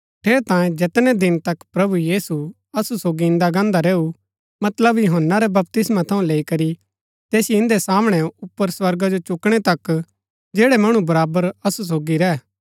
ठेरैतांये जैतनै दिन तक प्रभु यीशु असु सोगी इन्दा गान्दा रैऊ मतलब यूहन्‍ना रै बपतिस्मा थऊँ लैई करी तैसिओ इन्दै सामणै ऊपर स्वर्गा जो चुकणै तक जैड़ै मणु बराबर असु सोगी रैह